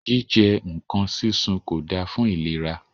Jíjẹ nǹkan súnsun kò da fún ìlera.